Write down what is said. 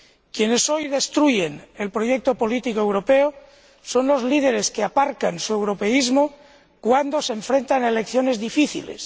Quienes hoy destruyen el proyecto político europeo son los líderes que aparcan su europeísmo cuando se enfrentan a elecciones difíciles